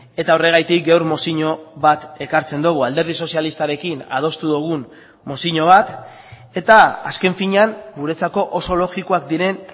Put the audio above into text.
eta horregatik gaur mozio bat ekartzen dugu alderdi sozialistarekin adostu dugun mozio bat eta azken finean guretzako oso logikoak diren